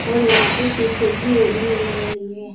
और यहां पे शीशे की रेलिंग लगाई है।